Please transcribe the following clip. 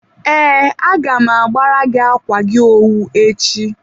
ee, agam agbara gị akwa gị owu echi.